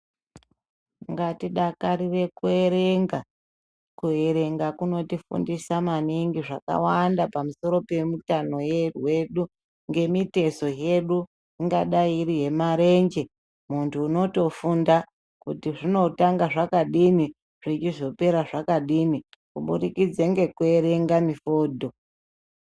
Ngatidakarire kuerenga. Kuerenga kunotifundisa maningi zvakawanda pamusoro pemitano we yedu, ngemitezo hedu, ingadai iri yemarenje. Muntu unotofunda kuti zvinotanga zvakadini, zvechizopera zvakadini, kuburikidze ngekuerenge mifodho.